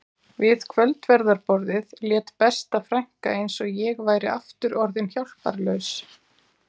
Við kvöldverðarborðið lét besta frænka eins og ég væri aftur orðin hjálparlaus